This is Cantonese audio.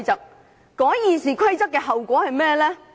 修改《議事規則》有何後果？